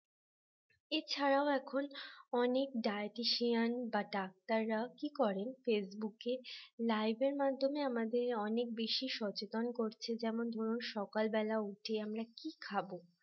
এছাড়াও এখন অনেক dietitian বা ডাক্তার রা কি করেন facebook live এর মাধ্যমে আমাদের অনেক বেশি সচেতন করছে যেমন ধরুন সকালবেলা উঠে যে আমরা কি খাব